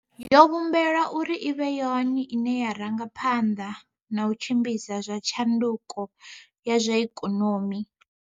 Yo vhumbelwa uri i vhe yone ine ya ranga phanḓa na u tshimbidza zwa tshanduko ya zwa ikonomi.